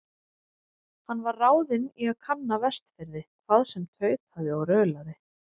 Hann var ráðinn í að kanna Vestfirði, hvað sem tautaði og raulaði.